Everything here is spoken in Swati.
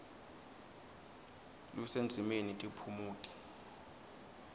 lusendzimeni tiphumuti